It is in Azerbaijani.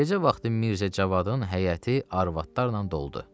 Gecə vaxtı Mirzə Cavadın həyəti arvadlarla doldu.